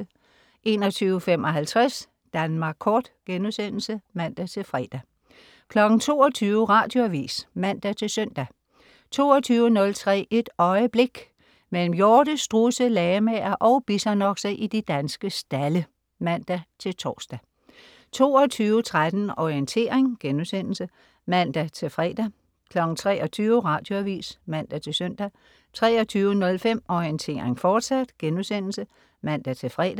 21.55 Danmark Kort* (man-fre) 22.00 Radioavis (man-søn) 22.03 Et øjeblik. Mellem hjorte, strudse, lamaer og bisonokser i de danske stalde (man-tors) 22.13 Orientering* (man-fre) 23.00 Radioavis (man-søn) 23.05 Orientering, fortsat* (man-fre)